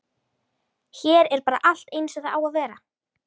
Hér er bara allt eins og það á að vera.